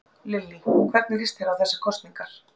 Lillý: Hvernig líst þér á þessar kosningar?